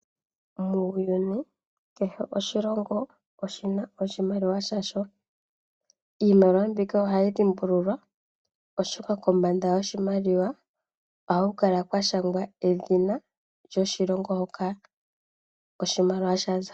Muuyuni kehe oshilongo oshina oshimaliwa sha sho. Iimaliwa mbika ohayi dhimbulukwa oshoka kombanda yoshimaliwa ohaku kala kwa shangwa edhina lyoshilongo hoka oshimaliwa sha za.